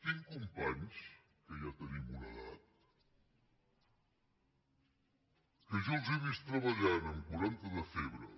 tinc companys que ja tenim una edat que jo els he vist treballant amb quaranta de febre